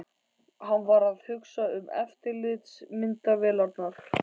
Hann var að hugsa um eftirlitsmyndavélarnar.